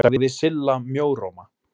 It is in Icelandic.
sagði Silla mjóróma.